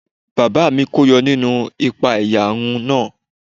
Bàbá mi kó yọ nínú ìpa-ẹ̀yà run náà.